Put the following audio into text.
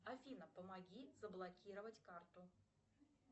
афина помоги заблокировать карту